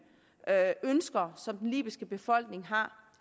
ønsker som den libyske befolkning har